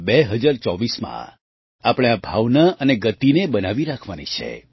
2024માં આપણે આ ભાવના અને ગતિને બનાવી રાખવાની છે